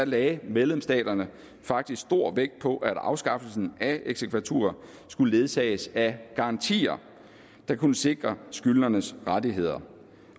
lagde medlemsstaterne faktisk stor vægt på at afskaffelsen af eksekvatur skulle ledsages af garantier der kunne sikre skyldnernes rettigheder